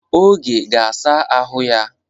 Oge ga-asa ahụ ya.